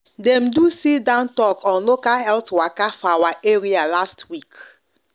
dem do sit-down talk on local health waka for our area last week